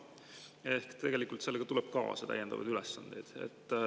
Ehk tegelikult tuleb sellega kaasa täiendavaid ülesandeid.